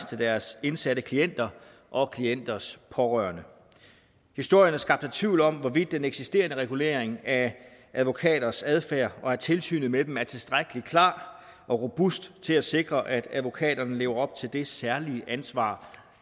til deres indsatte klienter og klienters pårørende historierne skabte tvivl om hvorvidt den eksisterende regulering af advokaters adfærd og af tilsynet med dem er tilstrækkelig klar og robust til at sikre at advokaterne lever op til det særlige ansvar